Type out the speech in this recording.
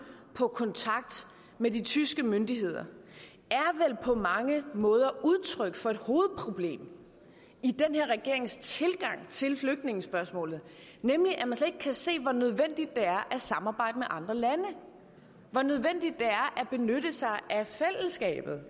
på kontakt med de tyske myndigheder på mange måder er udtryk for et hovedproblem i den her regerings tilgang til flygtningespørgsmålet nemlig at man slet ikke kan se hvor nødvendigt det er at samarbejde med andre lande og hvor nødvendigt det er at benytte sig af fællesskabet